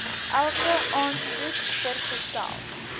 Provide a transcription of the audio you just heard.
elke aansoek vergesel